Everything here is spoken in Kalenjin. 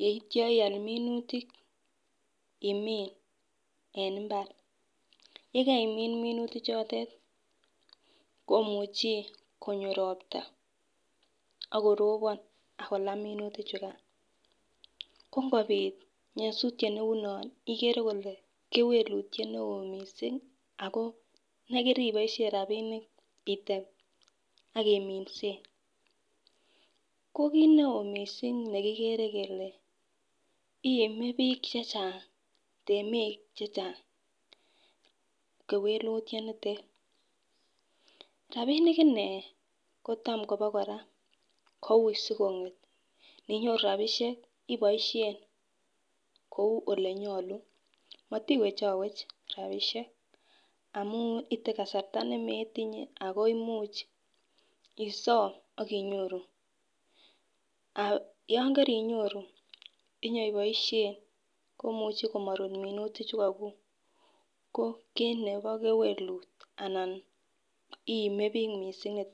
yeityo ial minutik imnin en imbar, yekeimin minutik chotet komuchi konyo ropta ak koropon ak kolaa minutik chukan ko ngopit nyosutyet neu non ikere kole kewekutyet newo missing ako nekiriboshen rabishek item ak iminsen , ko kit neo missing nekikere kele ime bik chechang temik chechang kewekutyo nitet. Rabishek inee kotam Kobo koraa kou sikonget ninyoru rabishek iboishen kou olenyolu motiwechowech rabishek amun item kasarta nemetinye Ako imuch osom ak inyoru. Yon kerinyoru inyoiboisbe. Komuche komorut minutik chu ko kiku ko kit nebo kewelut ana iime bik missing niton.